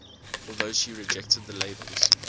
although she rejected the labels